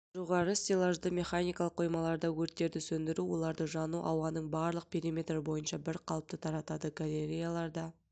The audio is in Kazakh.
жоғары стеллажды механикалық қоймаларда өрттерді сөндіру оларды жану ауданының барлық периметрі бойынша бір қалыпты таратады галереяларда